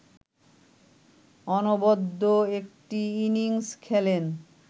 অনবদ্য একটি ইনিংস খেলেন